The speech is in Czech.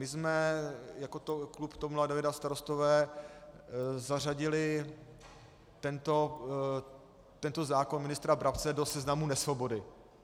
My jsme jako klub TOP 09 a Starostové zařadili tento zákon ministra Brabce do seznamu nesvobody.